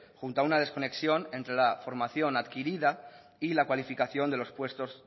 junto a una desconexión entre la formación adquirida y la cualificación de los puestos